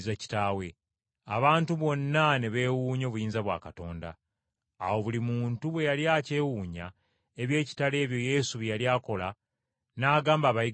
Abantu bonna ne beewuunya obuyinza bwa Katonda. Awo buli muntu bwe yali akyewuunya eby’ekitalo ebyo Yesu bye yali akola, n’agamba abayigirizwa be nti,